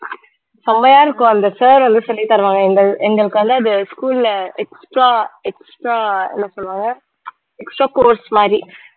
செம்மையா இருக்கும் அந்த sir வந்து சொல்லித் தருவாங்க எங்கள்~ எங்களுக்கு வந்து அது school ல extra extra என்ன சொல்லுவாங்க extra course மாரி